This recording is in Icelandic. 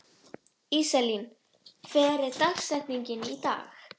Íselín, hver er dagsetningin í dag?